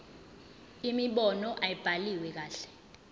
imibono ayibhaliwe kahle